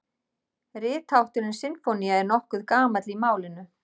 Rithátturinn sinfónía er nokkuð gamall í málinu.